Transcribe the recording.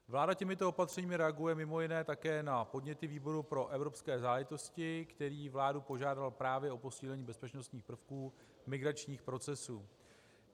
Vláda těmito opatřeními reaguje mimo jiné také na podněty výboru pro evropské záležitosti, který vládu požádal právě o posílení bezpečnostních prvků migračních procesů.